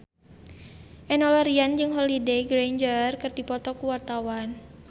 Enno Lerian jeung Holliday Grainger keur dipoto ku wartawan